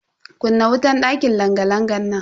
Kunna wutan dakin langa-langan nan.